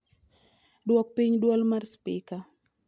duok piny dwol mar spika